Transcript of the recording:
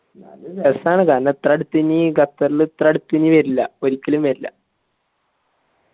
ന്നാലും റസ്സാണ് കാരണം ഇത്ര അടുത്തെനി ഖത്തർൽ ഇത്ര അടിത്തെനി വരില്ല ഒരിക്കലും വരില്ല